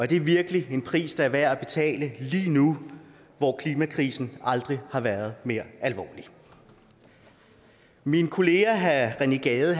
det virkelig en pris der er værd at betale lige nu hvor klimakrisen aldrig har været mere alvorlig min kollega herre rené gade